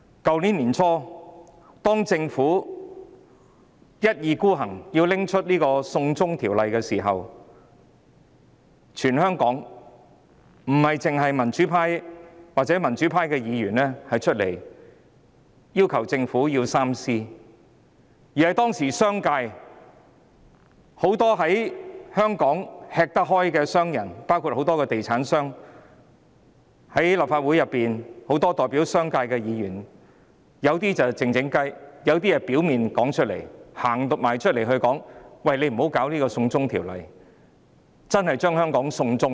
去年年初，當政府一意孤行要推行"送中條例"時，全香港不單民主派議員站出來要求政府三思，當時連香港商界很多吃得開的商人，包括地產商及代表商界的立法會議員均提出異議，他們有些是悄悄地勸止，亦有些是公開表明，請政府不要推行"送中條例"，因為這真的會把香港"送中"。